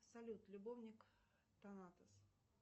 салют любовник танатос